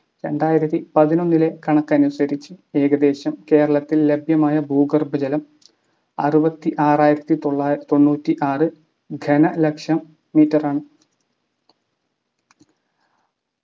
രണ്ടായിരത്തി പതിനൊന്നിലെ കണക്കനുസരിച്ച് ഏകദേശം കേരളത്തിൽ ലഭ്യമായ ഭൂഗർഭ ജലം ആറുപതി ആറായിരത്തി തൊള്ള തൊണ്ണൂറ്റിആറ് ഘനലക്ഷം meter ആണ്